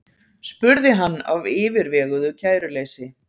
spurði hann af yfirveguðu kæruleysi.